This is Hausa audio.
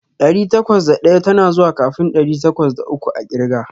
Ɗari takwas da ɗaya tana zuwa kafin ɗari takwas da uku a ƙirga.